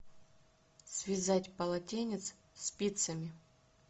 связать полотенец спицами